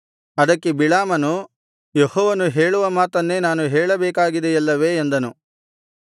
ಅದಕ್ಕೆ ಬಿಳಾಮನು ಯೆಹೋವನು ಹೇಳುವ ಮಾತನ್ನೇ ನಾನು ಹೇಳಬೇಕಾಗಿದೆಯಲ್ಲವೇ ಎಂದನು